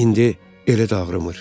İndi elə də ağrımır.